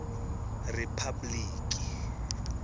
ripabliki